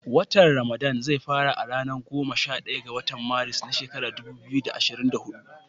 Watan ramadana zai fara a ranar goma sha ɗaya ga watan Maris, na shekarar dubu biyu da ashirin da hudu